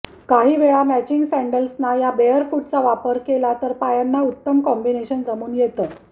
काही वेळा मॅचिंग सॅण्डल्सना या बेअरफूटचा वापर केला तर पायांना उत्तम कॉम्बिनेशन जमून येतं